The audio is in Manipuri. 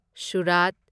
ꯁꯨꯔꯥꯠ